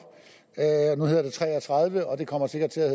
nu hedder det b tre og tredive og det kommer sikkert til at